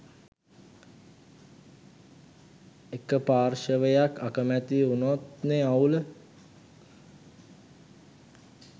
එක පාර්ශවයක් අකමැති උනොත්නෙ අවුල